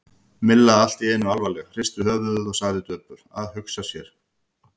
Milla allt í einu alvarleg, hristi höfuðið og sagði döpur: Að hugsa sér.